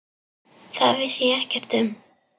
Það vissi ég ekkert um.